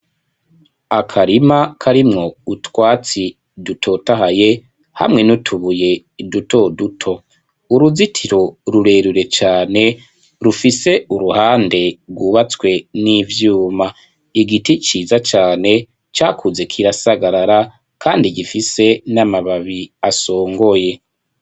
Akarima karimwo utwatsi dutotahaye hamwe n'utubuye duto duto. Uruzitiro rurerure cane rufise uruhande rwubatswe n'ivyuma. Igiti ciza cane cakuze kirasagarara kandi gifise n'amababi asongoye.